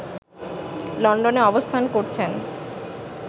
লন্ডনে অবস্থান করছেন